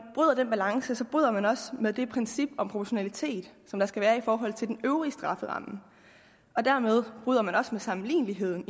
den balance bryder man også med det princip om proportionalitet der skal være i forhold til den øvrige strafferamme dermed bryder man også med sammenligneligheden